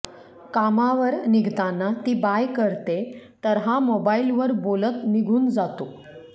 कामावर निघताना ती बाय करतेय तर हा मोबाइलवर बोलत निघून जातो